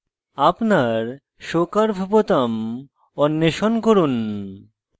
আপনার show curve বোতাম অন্বেষণ করুন